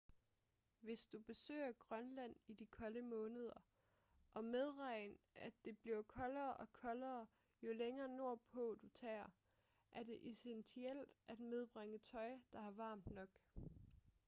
hvis du besøger grønland i de kolde måneder og medregn at det bliver koldere og koldere jo længere nordpå du tager er det essentielt at medbringe tøj der er varmt nok